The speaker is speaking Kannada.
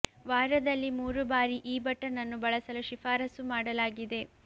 ವಾರದಲ್ಲಿ ಮೂರು ಬಾರಿ ಈ ಬಟನ್ ಅನ್ನು ಬಳಸಲು ಶಿಫಾರಸು ಮಾಡಲಾಗಿದೆ